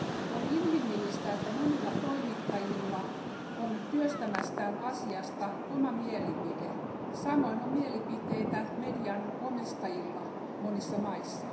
On inhimillistä, että monilla toimittajilla on työstämästään asiasta oma mielipide samoin on mielipiteitä median omistajilla monissa maissa.